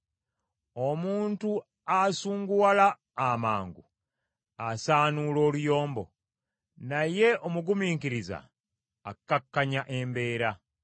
Omuntu asunguwala amangu asaanuula oluyombo, naye omugumiikiriza akakkanya embeera.